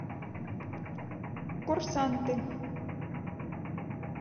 курсанты